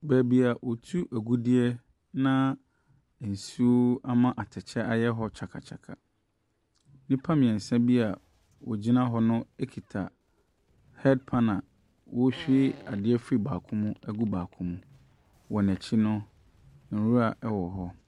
Baabi a wɔtu agudeɛ, na nsuo ama atɛkyɛ ayɛ hɔ kyakakyaka. Nnipa mmeɛnsa bi a wɔgyina hɔ no kita headpan awɔrehwie adeɛ afiri baako mu agu baako mu. Wɔn akyi no, nwura wɔ hɔ.